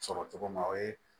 Sɔrɔ cogo ma o ye